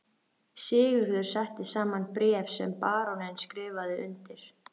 Sigurður setti saman bréf sem baróninn skrifaði undir.